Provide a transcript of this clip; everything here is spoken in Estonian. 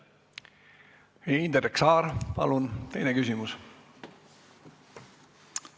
Indrek Saar, palun teine küsimus!